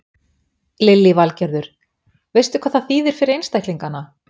Lillý Valgerður: Veistu hvað það þýðir fyrir einstaklingana?